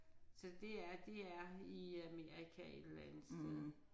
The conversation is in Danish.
Så det er det er i Amerika et eller andet sted